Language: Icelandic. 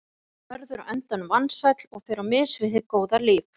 Sá verður á endanum vansæll og fer á mis við hið góða líf.